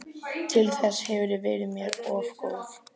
Til þess hefurðu verið mér of góð.